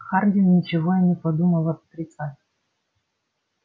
хардин ничего и не подумал отрицать